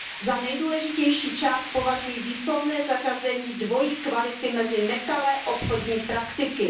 Za nejdůležitější část považuji výslovné zařazení dvojí kvality mezi nekalé obchodní praktiky.